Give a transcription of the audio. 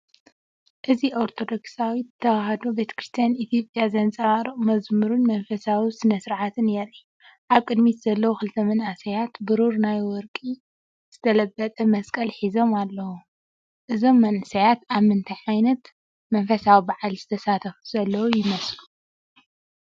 እዚ ኦርቶዶክሳዊት ተዋህዶ ቤተክርስቲያን ኢትዮጵያ ዘንጸባርቕ መዝሙርን መንፈሳዊ ስነ-ስርዓትን የርኢ። ኣብ ቅድሚት ዘለዉ ክልተ መንእሰያት ብሩር ወይ ብወርቂ ዝተለበጠ መስቀል ሒዞም ኣለው። እዞም መንእሰያት ኣብ ምንታይ ዓይነት መንፈሳዊ በዓል ዝሳተፉ ዘለዉ ይመስሉ?